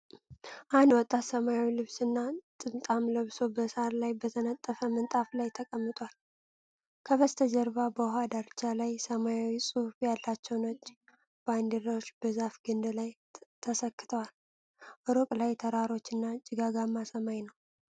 አንድ ወጣት ሰማያዊ ልብስና ጥምጣም ለብሶ፣ በሣር ላይ በተነጠፈ ምንጣፍ ላይ ተቀምጧል። ከበስተጀርባ በውኃ ዳርቻ ላይ፣ ሰማያዊ ጽሑፍ ያላቸው ነጭ ባንዲራዎች በዛፍ ግንድ ላይ ተሰክተዋል። ሩቅ ላይ ተራሮችና ጭጋጋማ ሰማይ ነው።